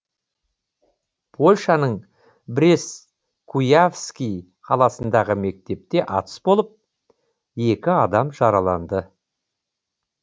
польшаның брест куявский қаласындағы мектепте атыс болып екі адам жараланды